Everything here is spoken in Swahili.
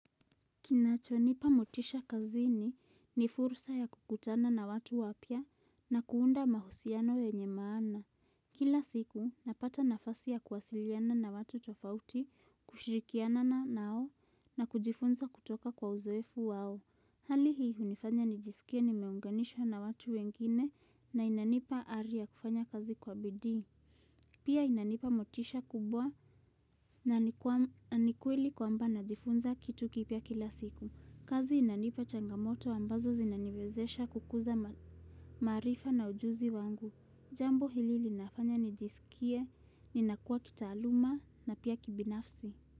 Kinacho nipa mutisha kazini ni fursa ya kukutana na watu wapya na kuunda mahusiano yenye maana. Kila siku napata nafasi ya kuwasiliana na watu tofauti, kushirikiana na nao na kujifunza kutoka kwa uzoefu wao. Hali hii hunifanya nijisikie nimeunganisha na watu wengine na inanipa ari ya kufanya kazi kwa bidiii. Pia inanipa motisha kubwa na nikweli kwamba najifunza kitu kipia kila siku. Kazi inanipa changamoto ambazo zinaniwezesha kukuza maarifa na ujuzi wangu. Jambo hili linafanya nijisikie, ninakua kitaaluma na pia kibinafsi.